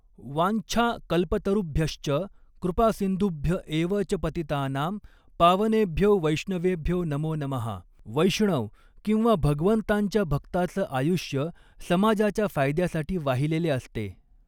वाञ्छा कल्पतरुभ्यश्च कृपासिन्धुभ्य एव च पतितानां पावनेभ्यो वैष्णवेभ्यो नमो नमः वैष्णव किंवा भगवंतांच्या भक्ताचं आयुष्य समाजाच्या फायद्यासाठी वाहिलेले असते.